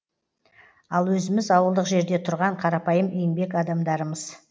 ал өзіміз ауылдық жерде тұрған қарапайым еңбек адамдармыз